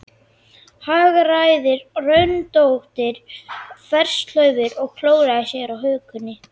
Hagræðir röndóttri þverslaufu og klórar sér á hökunni.